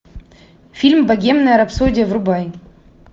фильм богемная рапсодия врубай